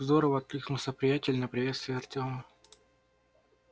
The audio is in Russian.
здорово откликнулся приятель на приветствие артёма